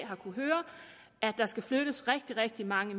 der skal flyttes rigtig rigtig mange